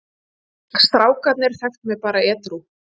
Strákarnir þekktu mig bara edrú.